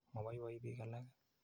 Mapoipoi piik alake.